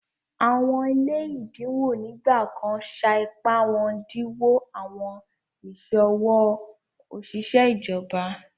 Awọn ile èdínwò nígbàkàn ṣá ìpá wọn dínwò awọn iṣọwọ oṣiṣẹ̀ ìjọ̀bà